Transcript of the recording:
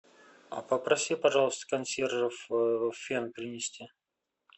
попроси пожалуйста консьержев фен принести